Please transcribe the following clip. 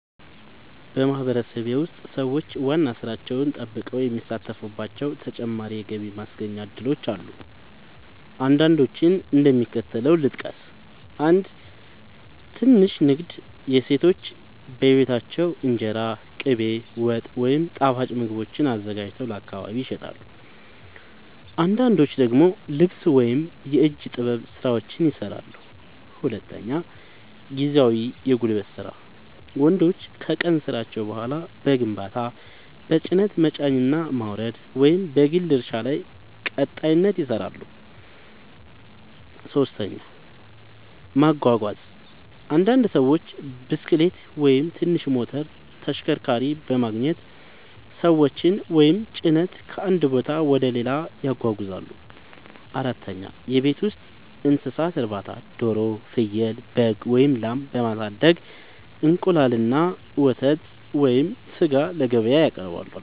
በማህበረሰቤ ውስጥ ሰዎች ዋና ሥራቸውን ጠብቀው የሚሳተፉባቸው ተጨማሪ የገቢ ማስገኛ እድሎች አሉ። አንዳንዶቹን እንደሚከተለው ልጠቅስ፦ 1. ትንሽ ንግድ – ሴቶች በቤታቸው እንጀራ፣ ቅቤ፣ ወጥ ወይም ጣፋጭ ምግቦችን አዘጋጅተው ለአካባቢ ይሸጣሉ። አንዳንዶች ደግሞ ልብስ ወይም የእጅ ጥበብ ሥራዎችን ይሠራሉ። 2. ጊዜያዊ የጉልበት ሥራ – ወንዶች ከቀን ሥራቸው በኋላ በግንባታ፣ በጭነት መጫንና ማውረድ፣ ወይም በግል እርሻ ላይ ቀጣሪነት ይሠራሉ። 3. ማጓጓዝ – አንዳንድ ሰዎች ብስክሌት ወይም ትንሽ ሞተር ተሽከርካሪ በማግኘት ሰዎችን ወይም ጭነት ከአንድ ቦታ ወደ ሌላ ያጓጉዛሉ። 4. የቤት ውስጥ እንስሳት እርባታ – ዶሮ፣ ፍየል፣ በግ ወይም ላም በማሳደግ እንቁላል፣ ወተት ወይም ሥጋ ለገበያ ያቀርባሉ።